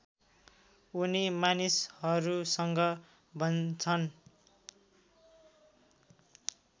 उनी मानिसहरूसँग भन्छन्